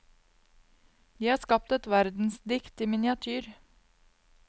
De har skapt et verdensdikt i miniatyr.